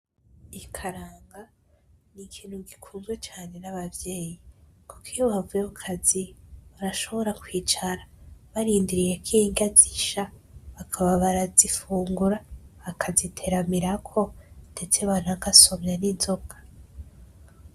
Ikaranga ni ikintu gikunzwe n'abavyeyi kuko iyo bavuye ku kazi barashobora kwicara barindiriye kw'inrya zisha bakaba barazifungura bakaziteramirako ndetse bakanasomya n'inzoga.